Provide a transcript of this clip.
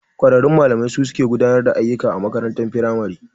Kwararrun malamai su suke gudanar da ayyuka a makarantar firamare.